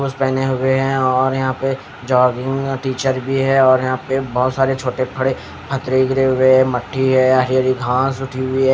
पहने हुए हैं और यहाँ पे जॉगिंग टीचर भी है और यहाँ पे बहुत सारे छोटे फड़े हथरी गिरे हुए हैं मट्टी है हरी हरी घास उठी हुई है.